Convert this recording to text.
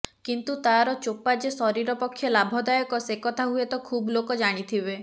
କିନ୍ତୁ ତାର ଚୋପା ଯେ ଶରୀର ପକ୍ଷେ ଲାଭଦାୟକ ସେ କଥା ହୁଏତ ଖୁବ ଲୋକ ଜାଣିଥିବେ